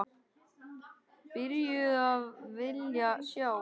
Byrjuð að vilja sjá.